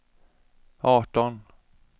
arton